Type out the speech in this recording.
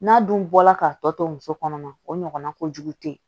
N'a dun bɔra ka tɔ to muso kɔnɔma o ɲɔgɔnna kojugu tɛ